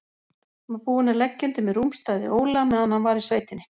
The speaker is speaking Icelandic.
Var búinn að leggja undir mig rúmstæði Óla meðan hann var í sveitinni.